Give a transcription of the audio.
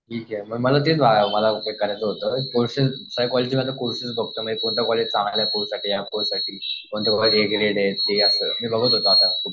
ठीक आहे मला ते करायचं होतं कॉलेजमध्ये मी बघत होतो आता.